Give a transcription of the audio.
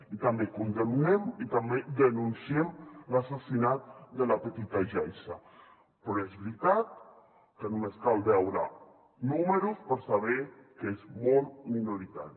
i també condemnem i també denunciem l’assassinat de la petita yaiza però és veritat que només cal veure números per saber que és molt minoritari